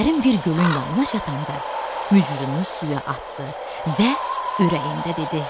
Dərin bir gölün yanına çatanda mücrünü suya atdı və ürəyində dedi: